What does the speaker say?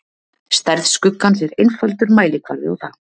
stærð skuggans er einfaldur mælikvarði á það